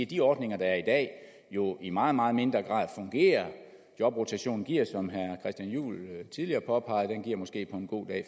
de ordninger der er i dag jo i meget meget mindre grad fungerer jobrotationen giver som herre christian juhl tidligere påpegede